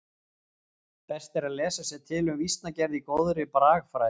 Best er að lesa sér til um vísnagerð í góðri bragfræði.